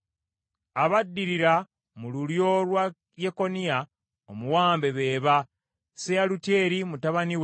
Abaddirira mu lulyo lwa Yekoniya omuwambe be ba: Seyalutyeri mutabani we,